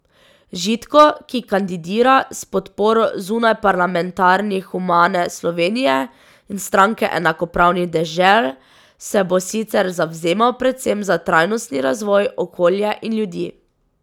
Žitko, ki kandidira s podporo zunajparlamentarnih Humane Slovenije in Stranke enakopravnih dežel, se bo sicer zavzemal predvsem za trajnostni razvoj, okolje in ljudi.